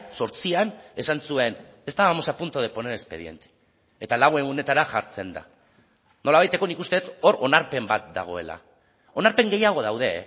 zortzian esan zuen estábamos a punto de poner expediente eta lau egunetara jartzen da nolabaiteko nik uste dut hor onarpen bat dagoela onarpen gehiago daude